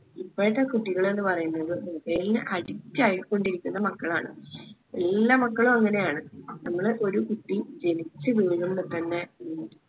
ഇപ്പോഴത്തെ കുട്ടികള് എന്ന് പറയുന്നത് mobile ന് addict ആയിക്കൊണ്ടിരിക്കുന്ന മക്കളാണ്. എല്ലാ മക്കളും അങ്ങനെയാണ് ഒരു കുട്ടി ജനിച്ച് വീഴുമ്പം തന്നെ